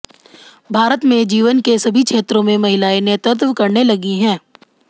भारत में जीवन के सभी क्षेत्रों में महिलाएं नेतृत्व करने लगी हैं